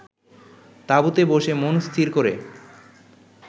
তাঁবুতে বসে মন স্থির করে